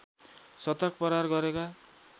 शतक प्रहार गरेका